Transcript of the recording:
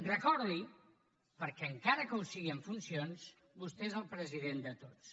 recordi perquè encara que ho sigui en funcions que vostè és el president de tots